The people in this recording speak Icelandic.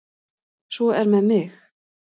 Svo er með mig.